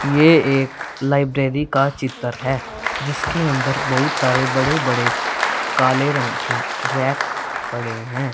ये एक लाइब्रेरी का चित्र है जिसके अंदर बहुत सारे बड़े बड़े काले रंग के रैक पड़े हैं।